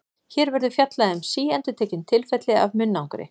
Hér verður fjallað um síendurtekin tilfelli af munnangri.